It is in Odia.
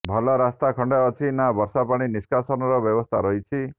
ଭଲ ରାସ୍ତା ଖଣ୍ଡେ ଅଛି ନା ବର୍ଷା ପାଣି ନିଷ୍କାସନର ବ୍ୟବସ୍ଥା ରହିଛି